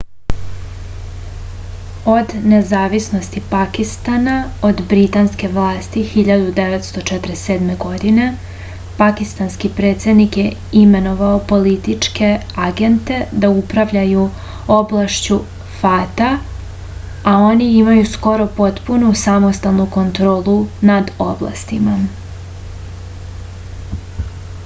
od nezavisnosti pakistana od britanske vlasti 1947. godine pakistanski predsednik je imenovao političke agente da upravljaju oblašću fata a oni imaju skoro potpunu samostalnu kontrolu nad oblastima